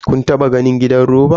Kun taba ganin gidan roba?